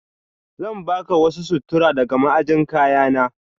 Zan baka wasu sutura daga ma'ajin kayana.